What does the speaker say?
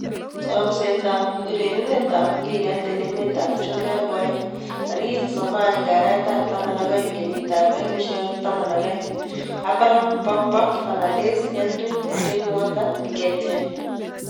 Chomset ab urerenet ab mbiret eng emet ab chumbek koaeng' 31.12.12: Abraham, Pogba, Fernandes, Henry, Drinkwater, Nketiah